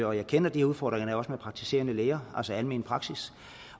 og jeg kender de udfordringer der er med praktiserende læger altså almen praksis